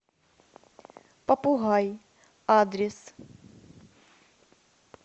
попугай адрес